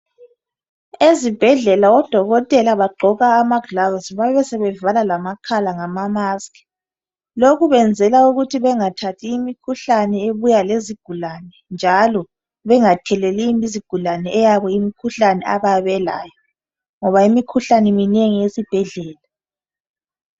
Ezibhedlela odokotela bagqoka amagilovisi babesebe vala amakhala ngezifonyo lokhu benzela ukuthi bengathathi imikhuhlane ebuya lezigulane njalo bengatheleli izigulane eyabo imikhuhlane abayabe belayo ngoba imikhuhlane minengi esibhedlela.